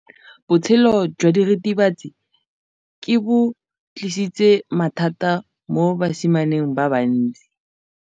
Botshelo jwa diritibatsi ke bo tlisitse mathata mo basimaneng ba bantsi.